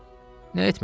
Nə etmək olar?